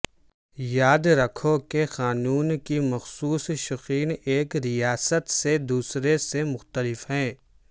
یاد رکھو کہ قانون کی مخصوص شقیں ایک ریاست سے دوسرے سے مختلف ہیں